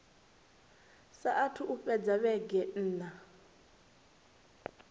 saathu u fhela vhege nṋa